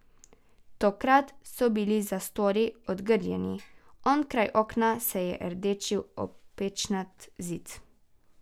Tokrat so bile zastori odgrnjeni, onkraj okna se je rdečil opečnat zid.